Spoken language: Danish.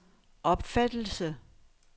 opfattelse